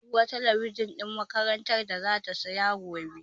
Zamu ga sabuwar talabijin ɗin makarantar zata siya gobe.